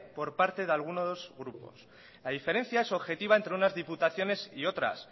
por parte de algunos grupos la diferencia es objetiva entre unas diputaciones y otras